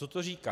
Co to říká.